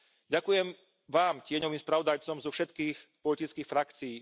Ďakujem vám, tieňovým spravodajcom zo všetkých politických frakcií.